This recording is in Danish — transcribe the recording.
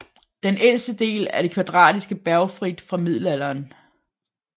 Den ældste del er det kvadratiske Bergfried fra middelalderen